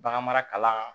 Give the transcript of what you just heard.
Baganmara kalan